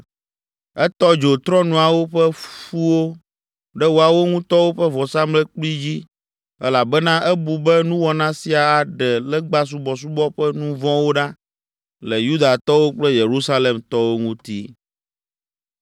Etɔ dzo trɔ̃nuawo ƒe ƒuwo ɖe woawo ŋutɔwo ƒe vɔsamlekpui dzi elabena ebu be nuwɔna sia aɖe legbasubɔsubɔ ƒe nu vɔ̃wo ɖa le Yudatɔwo kple Yerusalemtɔwo ŋuti.